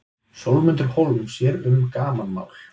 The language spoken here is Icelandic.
Sólmundur Hólm sér um gamanmál.